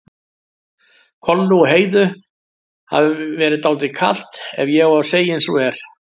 Kollu og Heiðu hafi verið dálítið kalt ef ég á að segja eins og er.